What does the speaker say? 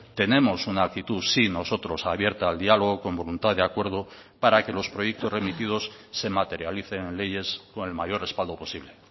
tenemos una actitud sí nosotros abierta al dialogo con voluntad de acuerdo para que los proyectos remitidos se materialicen en leyes con el mayor respaldo posible